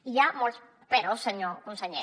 i hi ha molts peròs senyor conseller